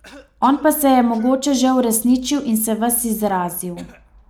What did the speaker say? On pa se je mogoče že uresničil in se ves izrazil.